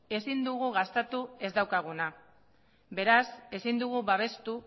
ezin dugu gastatu ez daukaguna beraz ezin dugu babestu